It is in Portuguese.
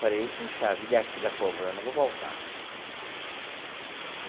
Falei, puxa vida é as filhas cobrando, eu vou voltar.